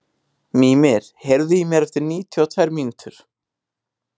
Mímir, heyrðu í mér eftir níutíu og tvær mínútur.